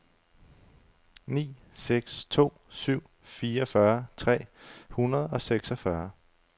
ni seks to syv fireogfyrre tre hundrede og seksogfyrre